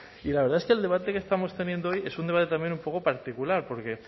y la verdad es que el debate que estamos teniendo hoy es un debate también un poco particular porque